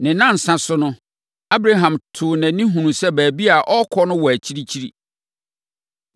Ne nnansa so no, Abraham too nʼani hunuu sɛ baabi a ɔrekɔ no wɔ akyirikyiri.